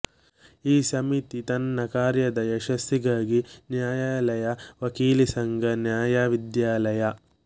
ಈ ಸಮಿತಿ ತನ್ನ ಕಾರ್ಯದ ಯಶಸ್ಸಿಗಾಗಿ ನ್ಯಾಯಾಲಯ ವಕೀಲಿಸಂಘ ನ್ಯಾಯವಿದ್ಯಾಲಯ